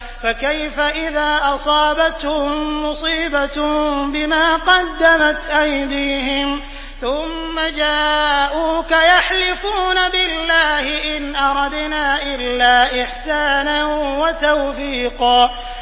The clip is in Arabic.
فَكَيْفَ إِذَا أَصَابَتْهُم مُّصِيبَةٌ بِمَا قَدَّمَتْ أَيْدِيهِمْ ثُمَّ جَاءُوكَ يَحْلِفُونَ بِاللَّهِ إِنْ أَرَدْنَا إِلَّا إِحْسَانًا وَتَوْفِيقًا